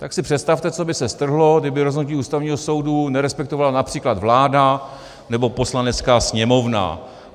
Tak si představte, co by se strhlo, kdyby rozhodnutí Ústavního soudu nerespektovala například vláda nebo Poslanecká sněmovna.